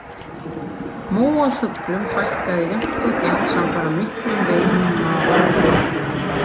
Móafuglum fækkaði jafnt og þétt samfara miklum veiðum maóría.